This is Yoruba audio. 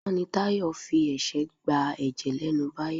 Àná ni Tayọ fi ẹ̀ṣẹ́ gba ẹ̀jẹ̀ lẹ́nu Báyọ̀.